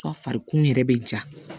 Fari kun yɛrɛ bɛ ja